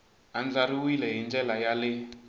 andlariwile hi ndlela ya le